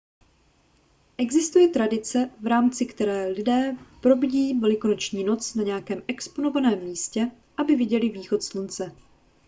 existuje tradice v rámci které lidé probdí velikonoční noc na nějakém exponovaném místě aby viděli východ slunce